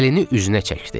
Əlini üzünə çəkdi.